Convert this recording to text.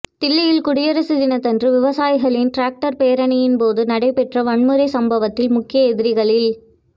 தில்லியில் குடியரசு தினத்தன்று விவசாயிகளின் டிராக்டா் பேரணியின் போது நடைபெற்ற வன்முறைச் சம்பவத்தில் முக்கிய எதிரிகளில்